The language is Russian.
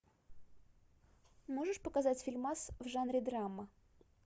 можешь показать фильмас в жанре драма